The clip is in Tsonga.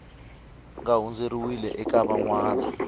nga hundziseriwi eka van wana